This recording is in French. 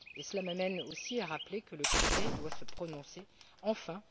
Et cela m'amène aussi à rappeler que le Conseil doit se prononcer enfin!